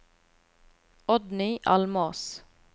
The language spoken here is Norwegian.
Oddny Almås